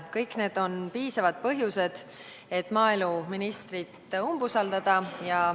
Kõik need on piisavad põhjused, et maaeluministrit umbusaldada.